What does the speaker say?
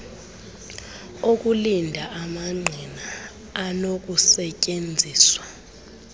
okulinda amangqina anokusetyenziswa